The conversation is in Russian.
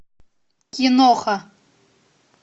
киноха